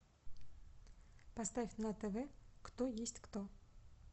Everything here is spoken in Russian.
поставь на тв кто есть кто